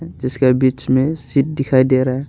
जिसके बीच में सीट दिखाई दे रहा--